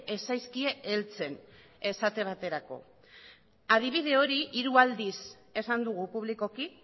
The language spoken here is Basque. ez zaizkie heltzen esate baterako adibide hori hiru aldiz esan dugu publikoki